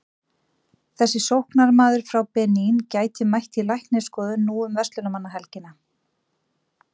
Þessi sóknarmaður frá Benín gæti mætt í læknisskoðun nú um verslunarmannahelgina.